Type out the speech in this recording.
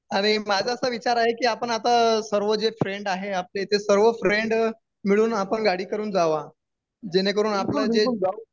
अरे माझा असा विचार आहे की आपण आता सर्व जे फ्रेंड आहे आपले ते सर्व फ्रेंड मिळून आपण गाडी करून जावं, जेणेकरून आपलं जे